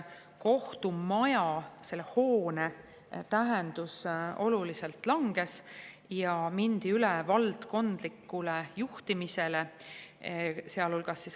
Kohtumaja hoone tähendus oluliselt langes ja mindi üle valdkondlikule juhtimisele.